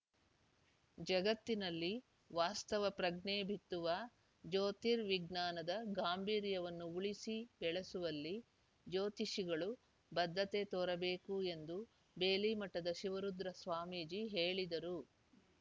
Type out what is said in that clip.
ಜಗತ್ತಿನಲ್ಲಿ ವಾಸ್ತವ ಪ್ರಜ್ಞೆ ಬಿತ್ತುವ ಜ್ಯೋತಿರ್‌ ವಿಜ್ಞಾನದ ಗಾಂಭೀರ್ಯವನ್ನು ಉಳಿಸಿ ಬೆಳೆಸುವಲ್ಲಿ ಜ್ಯೋತಿಷಿಗಳು ಬದ್ಧತೆ ತೋರಬೇಕು ಎಂದು ಬೇಲಿಮಠದ ಶಿವರುದ್ರ ಸ್ವಾಮೀಜಿ ಹೇಳಿದರು